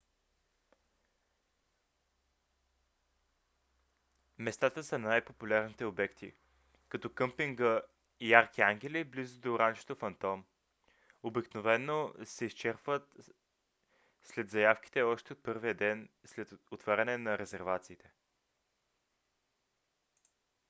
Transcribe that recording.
местата за най - популярните обекти като къмпинга ярки ангели близко да ранчото фантом обикновено се изчерпват след заявките още от първия ден след отваряне на резервациите